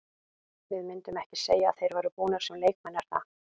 Við myndum ekki segja að þeir væru búnir sem leikmenn er það?